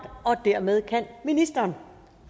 og dermed kan ministeren